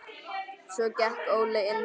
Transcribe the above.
Svo gekk Óli inn.